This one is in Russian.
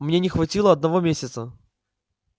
мне не хватило одного месяца